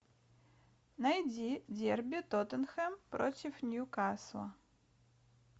найди дерби тоттенхэм против ньюкасла